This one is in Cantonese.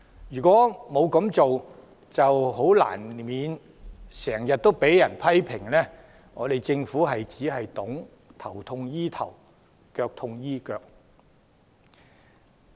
如果沒有這樣做，難怪政府經常被批評為只懂得"頭痛醫頭，腳痛醫腳"。